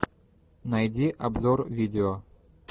найди обзор видео